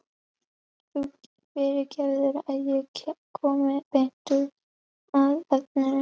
Þú fyrirgefur að ég komi beint að efninu.